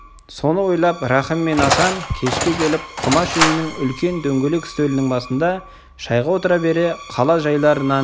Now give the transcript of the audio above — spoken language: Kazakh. соны ойлап рахым мен асан кешке келіп құмаш үйінің үлкен дөңгелек үстелінің басында шайға отыра бере қала жайларынан